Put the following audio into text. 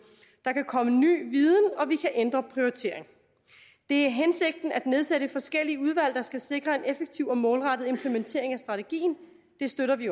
der kan komme ny viden og vi kan ændre prioriteringerne det er hensigten at nedsætte forskellige udvalg der skal sikre en effektiv og målrettet implementering af strategien det støtter vi